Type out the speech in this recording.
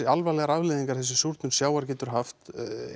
alvarlegar afleiðingar þessi súrnun sjávar getur haft